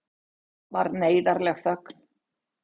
Svo varð neyðarleg þögn.